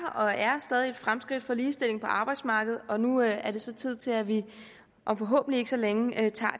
og er stadig et fremskridt for ligestilling på arbejdsmarkedet og nu er er det så tid til at vi om forhåbentlig ikke så længe tager det